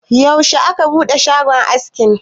yaushe aka bude shagon aski?